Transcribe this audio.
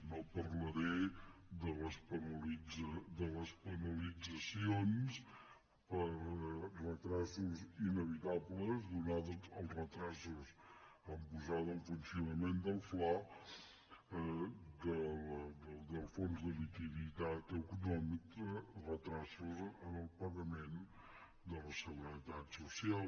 no parlaré de les penalitzacions per retards inevitables donats els retards a posar en funcionament el fla el fons de liquiditat autonòmica en el pagament de la seguretat social